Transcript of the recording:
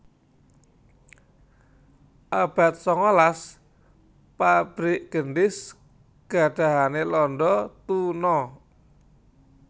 Abad sangalas pabrik gendhis gadahane londo tuna